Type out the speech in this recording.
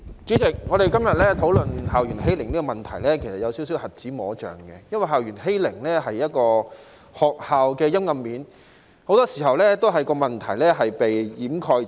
主席，我們今天討論校園欺凌的問題，其實是有一些瞎子摸象的，因為校園欺凌是學校的陰暗面，很多時候問題也會被掩蓋。